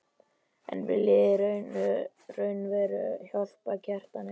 En viljið þið raunverulega hjálpa Kjartani?